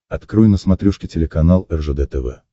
открой на смотрешке телеканал ржд тв